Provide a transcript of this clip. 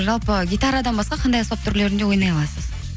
жалпы гитарадан басқа қандай аспап түрлерінде ойнай аласыз